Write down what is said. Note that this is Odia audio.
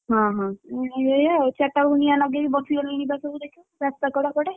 ହଁ ଏଇଆ ଆଉ ଚାରିଟା ବେଳକୁ ନିଆଁ ଲଗେଇ ବସି ଗଲେ ଦେଖିବୁ ରାସ୍ତା କଡେ।